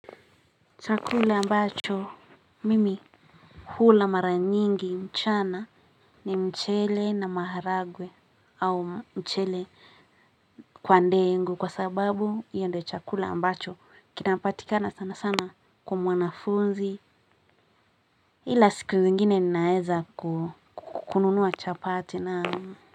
Chakula ambacho mimi hula mara nyingi mchana ni mchele na maharagwe au mchele kwa ndengu kwa sababu hiyo ndo chakula ambacho kinapatikana sana sana kwa mwanafunzi ila siku zingine ninaweza ku kununua chapati na.